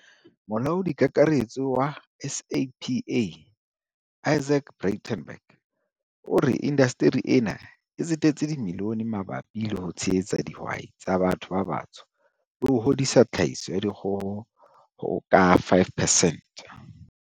Molaodi Kakaretso wa SAPA Izaak Breitenbach o re inda steri ena e tsetetse dimilione mabapi le ho tshehetsa di hwai tsa batho ba batsho le ho hodisa tlhahiso ya dikgo ho ka 5 percent.